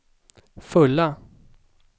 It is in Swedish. fulla